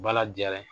Bala jara